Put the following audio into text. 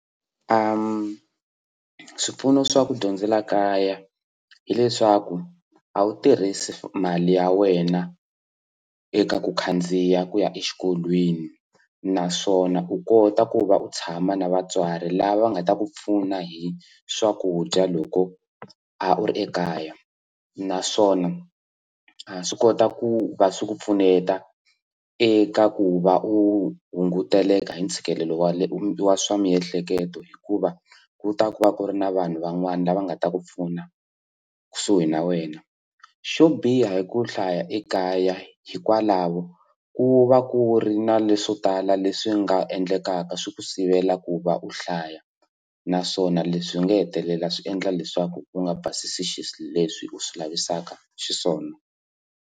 swipfuno swa ku dyondzela kaya hileswaku a wu tirhisi mali ya wena eka ku khandziya ku ya exikolweni naswona u kota ku va u tshama na vatswari lava va nga ta ku pfuna hi swakudya loko a u ri ekaya naswona ha swi kota ku va swi ku pfuneta eka ku va u hunguteleka hi ntshikelelo wa leswa swa miehleketo hikuva ku ta ku va ku ri na vanhu van'wana lava nga ta ku pfuna kusuhi na wena xo biha hi ku hlaya ekaya hikwalaho ku va ku ri na leswo tala leswi nga endlekaka swi ku sivela ku va u hlaya naswona leswi swi nga hetelela swi endla leswaku u nga basisi leswi u swi lavisaka xiswona.